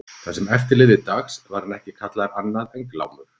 Það sem eftir lifði dags var hann ekki kallaður annað en Glámur.